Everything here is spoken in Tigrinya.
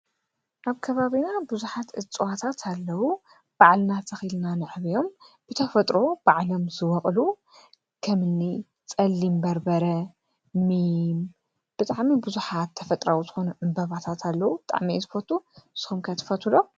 ኣብ ከባቢና ብዙሓት እፅዋታት ኣለዉ፡፡ በዓልናተኺልና ንዕብዮም፣ ብተፈጥሮ ባዕሎም ዝበቕሉ ኸምኒ ጸሊምበርበረ ፣ኒም ብጣዕሚ ብዙሓት ተፈጥሮኣዊ ልኾኑ ዕምበባታት ኣለዉ፡፡ ብጣዕሚ እየ ዝፈቱ ሶምከ ትፈትው ዶ?